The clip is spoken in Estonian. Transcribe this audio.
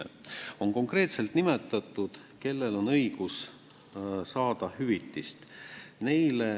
Eelnõus on konkreetselt nimetatud, kellel on õigus saada hüvitist.